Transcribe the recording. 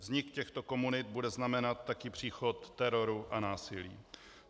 Vznik těchto komunit bude znamenat také příchod teroru a násilí.